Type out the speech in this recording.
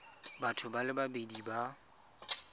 batho ba le babedi ba